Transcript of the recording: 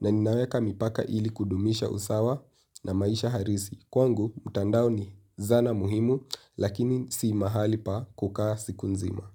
na ninaweka mipaka ili kudumisha usawa na maisha halisi. Kwangu mtandao ni zana muhimu lakini si mahali pa kukaa siku nzima.